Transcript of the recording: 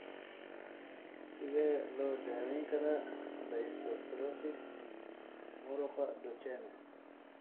Sidee loo daweyn karaa dystrophy muruqa Duchenne?